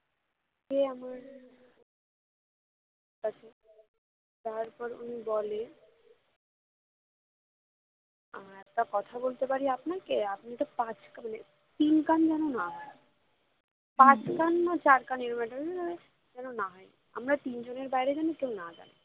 আহ একটা কথা বলতে পারি আপনাকে আপনি তো পাঁচকান মানে তিনকান যেনো না হয় পাঁচকান না চারকান এরম একটা যেনো না হয় আমরা তিনজনের বাইরে যেনো কেউ না জানি